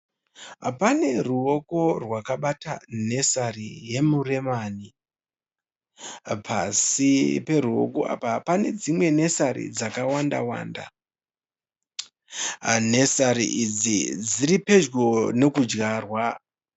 Pane ruoko rwakabata nesari yemuremani. Pasi peruoko apa pane dzimwe nesari dzakawanda wanda. Nesari idzi dziri pedyo nekudyarwa.